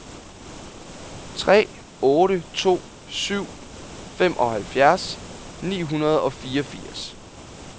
tre otte to syv femoghalvfjerds ni hundrede og fireogfirs